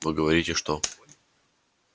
вы говорите что